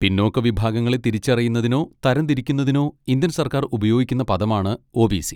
പിന്നോക്ക വിഭാഗങ്ങളെ തിരിച്ചറിയുന്നതിനോ തരംതിരിക്കുന്നതിനോ ഇന്ത്യൻ സർക്കാർ ഉപയോഗിക്കുന്ന പദമാണ് ഒ.ബി.സി.